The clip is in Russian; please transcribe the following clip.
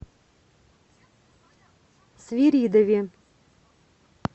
свиридове